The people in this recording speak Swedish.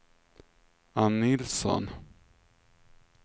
Ann Nilsson